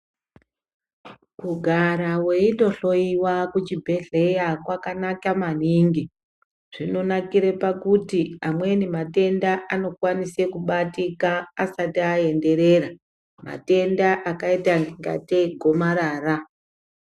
Kugara weitohloyiwa kuchibhedhleya kwakanaka maningi, zvinonakire pakuti amweni matenda anokwanise kubatika asati aenderera, matenda akaita kungatei igomarara.